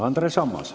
Andres Ammas.